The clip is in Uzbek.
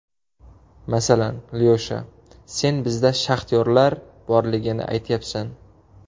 Masalan, Lyosha, sen bizda shaxtyorlar borligini aytyapsan.